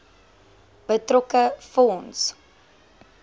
betrokke fonds